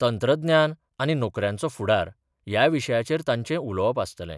तंत्रज्ञान आनी नोकऱ्यांचो फुडार ह्या विशयाचेर तांचे उलोवप आसतले.